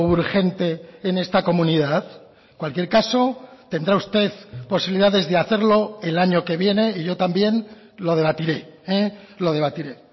urgente en esta comunidad en cualquier caso tendrá usted posibilidades de hacerlo el año que viene y yo también lo debatiré lo debatiré